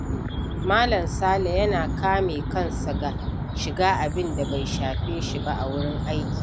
Mal. Sale yana kame kansa ga shiga abinda bai shafe shi ba a wurin aiki.